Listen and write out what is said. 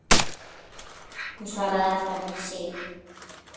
Hún svaraði alltaf fyrir sig.